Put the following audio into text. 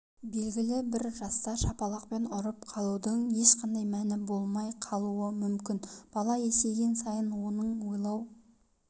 белгілі бір жаста шапалақпен ұрып қалудың ешқандай мәні болмай қалуы мүмкін бала есейген сайын оның ойлау